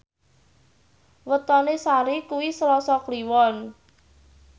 wetone Sari kuwi Selasa Kliwon